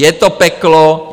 Je to peklo.